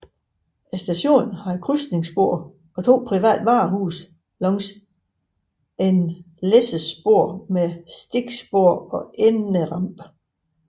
Stationen havde krydsningsspor og to private varehuse langs et læssespor med stikspor og enderampe